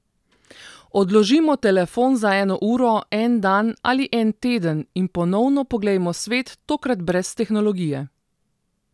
Odložimo telefon za eno uro, en dan ali en teden in ponovno poglejmo svet, tokrat brez tehnologije.